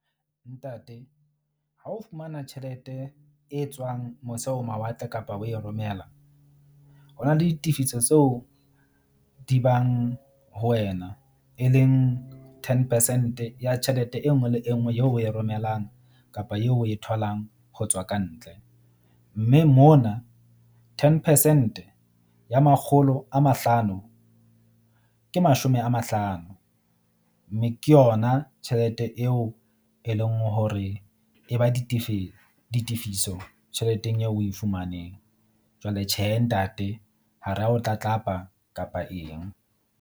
Ntate, ha o fumana tjhelete e tswang mose ho mawatle kapa o e romela, ho na le ditefiso tseo di bang ho wena, e leng ten percent ya tjhelete e nngwe le e nngwe eo o e romellang kapa eo o e tholang ho tswa ka ntle. Mme mona ten percent ya makgolo a mahlano ke mashome a mahlano. Mme ke yona tjhelete eo e leng hore e ba ditefiso tjheleteng eo o e fumaneng. Jwale tjhe, ntate ha ra o tlatlapa kapa eng.